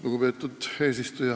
Lugupeetud eesistuja!